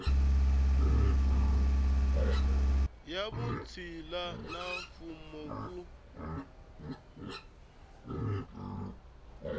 ya vutshila na mfuwo ku